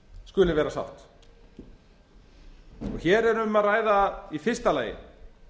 skuli vera sátt hér er um að ræða í fyrsta lagi